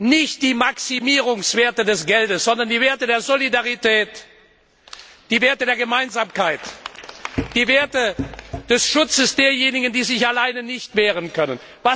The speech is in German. Nicht die Maximierungswerte des Geldes, sondern die Werte der Solidarität, die Werte der Gemeinsamkeit, die Werte des Schutzes derjenigen, die sich alleine nicht wehren können.